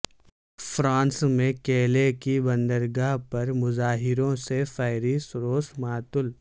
France میں Calais کی بندرگاہ پر مظاہروں سے فیری سروس معطل